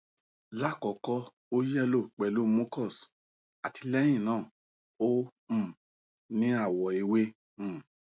lakoko o yello pelu mucus ati lẹ́yìn náà na o um ni awo ewe um